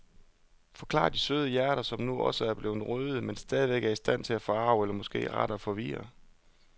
Forklarer de søde hjerter, som nu også er blevet røde, men stadigvæk er i stand til at forarge eller måske rettere forvirre.